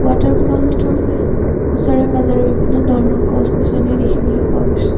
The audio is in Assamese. ৱাটাৰফলটোৰ ওচৰে পাজৰে বিভিন্ন ধৰণৰ গছ গছনি দেখিবলৈ পোৱা গৈছে।